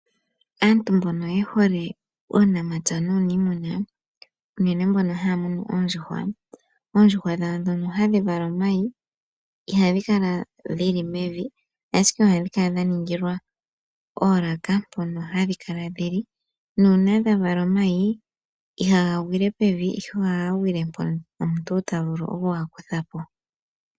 Aantu mbono ye hole uunamapya nuuniimuna, unene mbono haya munu oondjuhwa, oondjuhwa dhawo ndhono hadhi vala omayi ihadhi kala dhi li mevi, ashike ohadhi kala dha ningilwa oolaka mpono hadhi kala dhi li. Uuna dha vala omayi ihaga gwile pevi, ihe ohaga gwile mpoka omuntu ta vulu oku ga kutha po.